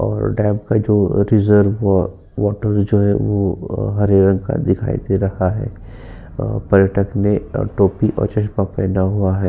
और डैम पे जो रिजर्व वाटर जो है वो हरे रंग का दिखाई दे रहा है और पर्यटक ने टोपी और चश्मा पहना हुया है।